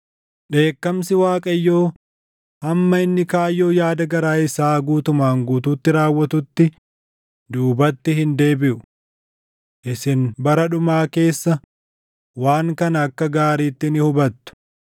Dheekkamsi Waaqayyoo hamma inni kaayyoo yaada garaa isaa guutumaan guutuutti raawwatutti duubatti hin deebiʼu. Isin bara dhumaa keessa waan kana akka gaariitti ni hubattu.